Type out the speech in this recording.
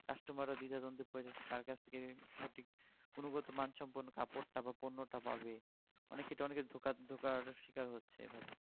customer রাও দ্বিধাদ্বন্দে পড়ে যাচ্ছে কার কাছ থেকে সঠিক গুণগত মান সম্পন্ন কাপড় টা বা পণ্যটা পাবে অনেক ক্ষেত্রে অনেকের ধোকার~ ধোকার শিকার হচ্ছে এভাবে